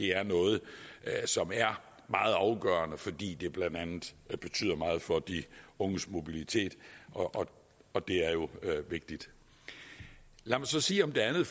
er noget som er meget afgørende fordi det blandt andet betyder meget for de unges mobilitet og og det er jo vigtigt lad mig så sige om det andet